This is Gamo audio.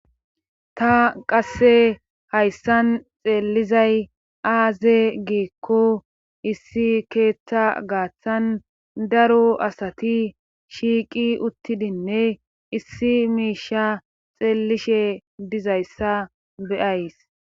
Ta qasse hayssan xeellizay aaze giekko issi keethta gaaththan daro asati shiiqi uttidinne issi miisha xeellishe dizayssa beyays.